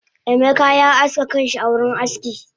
Emeka ya aske kanshi a wurin aski